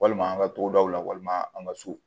Walima an ka togodaw la walima an ka so